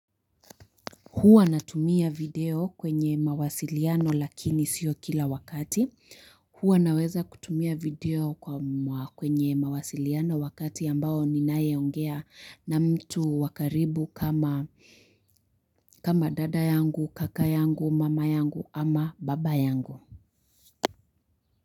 Huwa natumia video kwenye mawasiliano lakini sio kila wakati. Huwa naweza kutumia video kwa kwenye mawasiliano wakati ambao ninaye ongea na mtu wakaribu kama kama dada yangu, kaka yangu, mama yangu ama baba yangu.